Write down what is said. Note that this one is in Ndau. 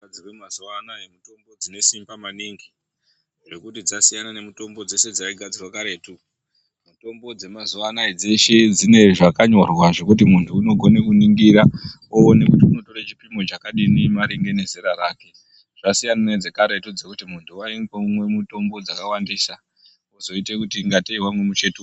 Mitombo dzinogadzirwe mazuwa anaa mitombo dzine simba maningi zvekuti dzasiyana nemitombo dzeshe dzaigadzirwa karetu. Mitombo dzemazuwa anaa dzeshe dzine zvakanyorwa zvekuti munhu unokone kuningira woone kuti ungatore chipimo chakadini maringe nezera rake. Zvasiyana nedzekaretu dzekuti munhu waingomwe mitombo dzakawandisa zvozongoita semunhu wamwe muchetura.